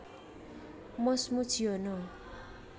Mus Mujiono